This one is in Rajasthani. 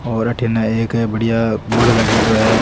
और अठीने एक बढ़िया बोर्ड लागेड़ो है।